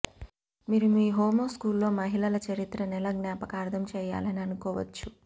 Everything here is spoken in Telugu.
మీరు మీ హోమోస్కూల్లో మహిళల చరిత్ర నెల జ్ఞాపకార్థం చేయాలని అనుకోవచ్చు